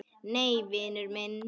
Nei, vinur minn.